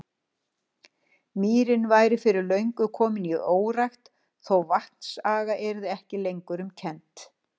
Mýrin væri fyrir löngu komin í órækt, þó vatnsaga yrði ekki lengur um kennt.